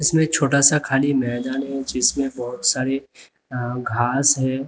इसमें छोटा सा खाली मैदान है जिसमें बहुत सारे घास हैं।